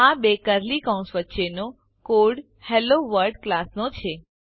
આ બે કર્લી કૌંસ વચ્ચેનો કોડ હેલોવર્લ્ડ ક્લાસનો છે